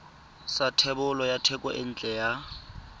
sa thebolo ya thekontle ya